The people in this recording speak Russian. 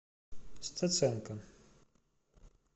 стеценко